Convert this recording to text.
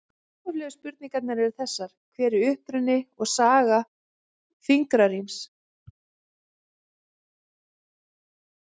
Upphaflegu spurningarnar eru þessar: Hver er uppruni og saga fingraríms?